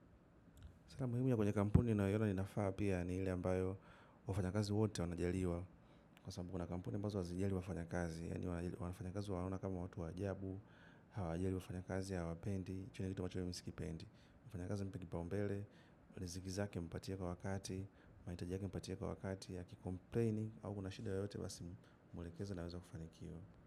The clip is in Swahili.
Sera muhimu ya kwenye kampuni nayoina ninafaa pia ni ile ambayo wafanyakazi wote wanajaliwa. Kwa sababu kuna kampuni ambazo hazijali wafanyakazi. Yani wanafanya kazi wanaona kama watu wa ajabu, hawajali wafanyakazi, hawapendi, kitendo kama hicho mi sikipendi. Mfanyakazi mpe kipaumbele, riziki zake mpatie kwa wakati, mahitaji yake mpatie kwa wakati akicomplaini au kuna shida yoyote basi mwelekezi anaweza kufanikiwa.